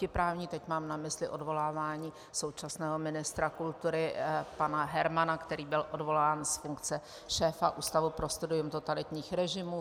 Teď mám na mysli odvolávání současného ministra kultury pana Hermana, který byl odvolán z funkce šéfa Ústavu pro studium totalitních režimů.